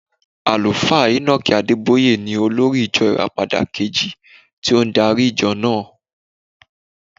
Àlùfáà Enoch Adébóyè ni olórí ìjọ Ìràpadà kejì tó ń darí ìjọ náà.